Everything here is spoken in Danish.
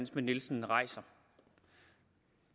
schmidt nielsen rejser